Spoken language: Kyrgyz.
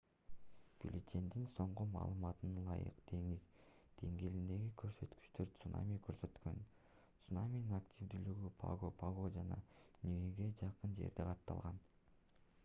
бюллетендин соңку маалыматына ылайык деңиз деңгээлиндеги көрсөткүчтөр цунамини көрсөткөн цунаминин активдүүлүгү паго-паго жана ниуэге жакын жерде катталган